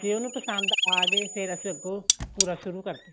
ਜੇ ਉਹਨੂੰ ਪਸੰਦ ਆ ਗਏ ਫੇਰ ਅਸੀਂ ਅੱਗੋ ਪੂਰਾ ਸ਼ੁਰੂ ਕਰਦੇ ਆ